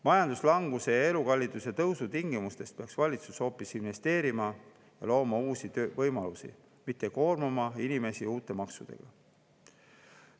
Majanduslanguse ja elukalliduse tõusu tingimustes peaks valitsus hoopis investeerima, looma uusi töövõimalusi, mitte koormama inimesi uute maksudega.